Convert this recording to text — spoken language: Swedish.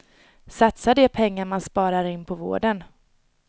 Satsa de pengar man sparar in på vården.